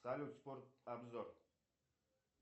салют спорт обзор